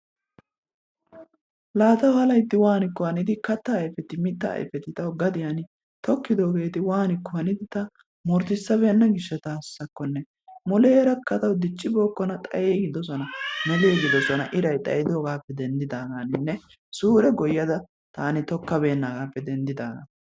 La tawu wannikko hannidi kattaa ayppetti mittaa aypetti tawu gadiyani tokidogetti wanikko haniddi murutisbenna gishaasakonne, mulera tawu dicci bokonna tawu xayigidosona, melligidosona irraay xayiddogappe denididagappenne suree goyaddaa tanni tookkaa benagappe denididagan.